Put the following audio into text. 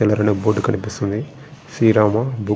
board కనిపిస్తుంది శ్రీరామ అని --